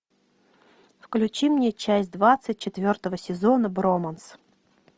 включи мне часть двадцать четвертого сезона броманс